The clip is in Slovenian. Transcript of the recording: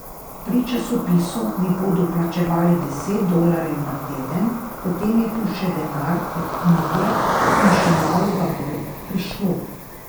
Pri časopisu mi bodo plačevali deset dolarjev na teden, potem je tu še denar od knjige in še malo ga bo prišlo.